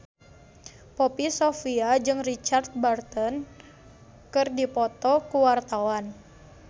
Poppy Sovia jeung Richard Burton keur dipoto ku wartawan